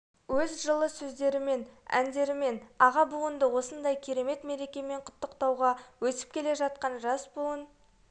өз жылы сөздерімен әндерімен аға буынды осындай керемет мерекемен құттықтауға өсіп келе жатқан жас буын